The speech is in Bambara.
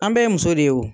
An bɛɛ ye muso de ye wo